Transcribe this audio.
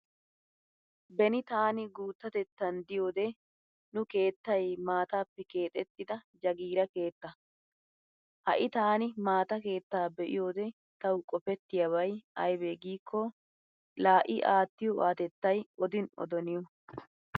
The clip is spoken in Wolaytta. Beni taani guuttatettan diyode nu keettay maataappe keecettida jagiira keetta. Ha"i taani maata keettaa be'iyode tawu qofettiyaabay aybee gikko laa i aattiyo aatettay odin odo niyo